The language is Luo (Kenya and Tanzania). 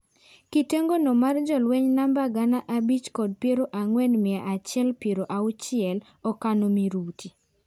Kitengo no mar jolueny namba gana abich kod piero ang'wen mia achiel piero auchiel okano miruti.